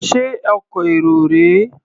Ṣé ọkọ̀ èrò rèé?